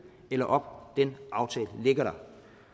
eller op den aftale ligger der